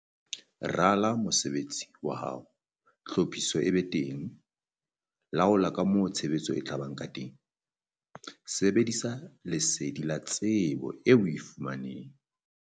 Rala mesebetsi ya hao, tlhophiso e be teng. Laola ka moo tshebetso e tla ba ka teng. Sebedisa lesedi la tsebo eo o e fumaneng.